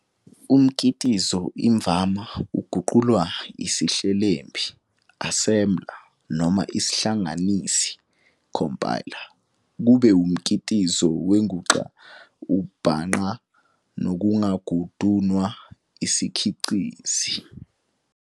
Umkitizo imvama uguqulwa isihlelembi, "assembler" noma isihlanganisi, "compiler", kube umkitizo wenguxa omabhangqa nongagunundwa isiCikizi.